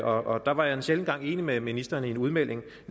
og der var jeg en sjælden gang enig med ministeren i hendes udmelding